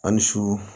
A ni su